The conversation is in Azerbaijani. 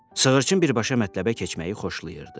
Sığırçın birbaşa mətləbə keçməyi xoşlayırdı.